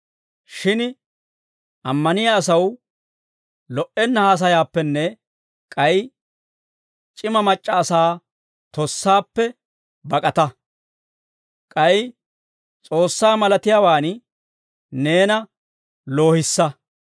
Shin ammaniyaa asaw lo"enna haasayaappenne k'ay c'ima mac'c'a asaa tossaappe bak'ata. K'ay S'oossaa malatiyaawaan neena loohissa.